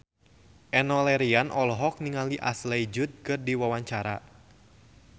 Enno Lerian olohok ningali Ashley Judd keur diwawancara